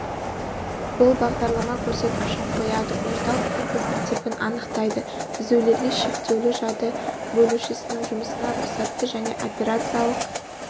бұл бағдарлама көрсеткішін қояды орталық процессор типін анықтайды дағы үзулерге шектеуді жады бөлушісінің жұмысына рұқсатты және операциялық